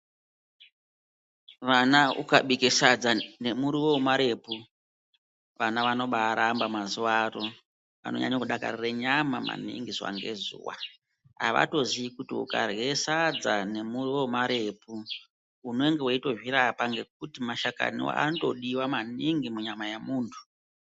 Vana ukabike sadza nemuriwo wemarepu, vana vanobaaramba mazuwaano. Vanonyanye kudakarire nyama maningi zuwa ngezuwa. Avatoziyi kuti ukarye sadza nemuriwo wemarepu, unenge weitozvirapa ngekuti mashakani anotodiwa maningi munyama yemuntu.